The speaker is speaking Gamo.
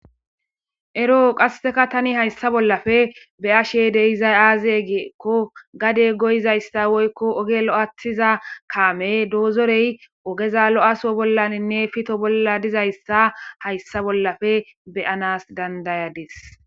ero qasseka tani hayssa bollafe be'ashe de'izay aaze giekko gade goyizayssa woykko oge lo'aathiza kaame doozorey ogeza lo'aso bollaninne pito bolla dizayssa hayssa bollafe beyanas dandayadis